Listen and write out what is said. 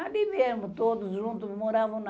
Ali mesmo, todos juntos moravam lá.